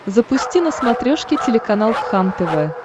запусти на смотрешке телеканал кхлм тв